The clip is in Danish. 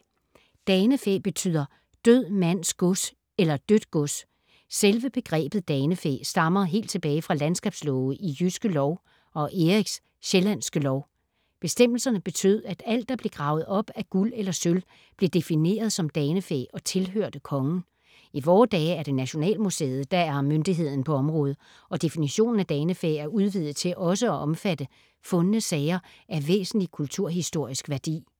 Danefæ betyder død mands gods eller dødt gods. Selve begrebet danefæ stammer helt tilbage fra landskabslove i Jyske Lov og Eriks Sjællandske lov. Bestemmelserne betød, at alt, der blev gravet op af guld eller sølv, blev defineret som danefæ og tilhørte Kongen. I vore dage er det Nationalmuseet, der er myndigheden på området og definitionen af danefæ er udvidet til også at omfatte fundne sager af væsentlig kulturhistorisk værdi.